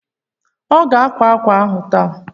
Ọ ga-akwá ákwà ahụ taa?